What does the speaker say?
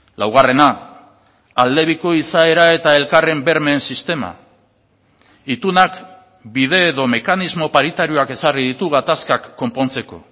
laugarrena aldebiko izaera eta elkarren bermeen sistema itunak bide edo mekanismo paritarioak ezarri ditu gatazkak konpontzeko